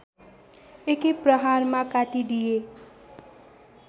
एकै प्रहारमा काटिदिए